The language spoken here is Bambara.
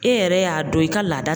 E yɛrɛ y'a dɔn i ka laada